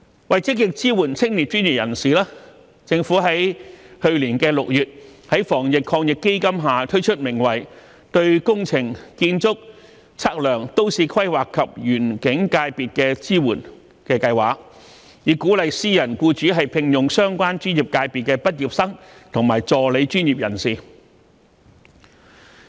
為積極支援青年專業人士，政府去年6月在防疫抗疫基金下推出名為"對工程、建築、測量、都市規劃及園境界別的支援"的計劃，以鼓勵私人僱主聘用相關專業界別的畢業生和助理專業人士。